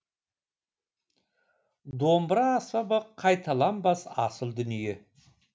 домбыра аспабы қайталанбас асыл дүние